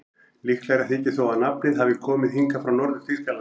Líklegra þykir þó að nafnið hafi komið hingað frá Norður-Þýskalandi.